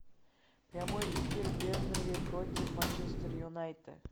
прямой эфир бернли против манчестер юнайтед